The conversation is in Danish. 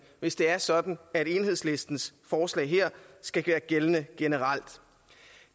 hvis det er sådan at enhedslistens forslag her skal være gældende generelt